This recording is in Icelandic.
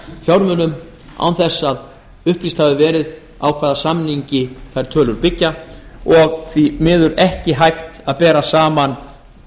fjármunum án þess að upplýst hafi verið á hvaða samningi þær tölur byggja og því miður ekki hægt að bera saman